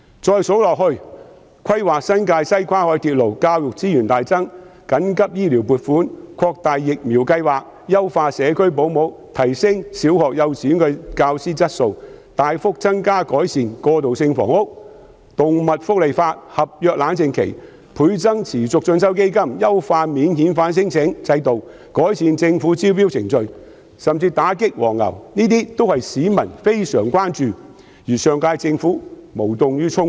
再說下去，規劃新界西跨海鐵路、大幅增加教育資源、緊急醫療撥款、擴大接種疫苗計劃、優化社區保姆服務、提升小學和幼稚園教師的質素、大幅增加及改善過渡性房屋、制訂動物福利法例、設立合約冷靜期、倍增持續進修基金、優化免遣返聲請制度、改善政府招標程序，甚至是打擊"黃牛"，這些都是市民非常關注但上屆政府無動於衷的事。